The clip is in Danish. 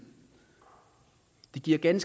i den